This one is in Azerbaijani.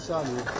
Bir saniyə.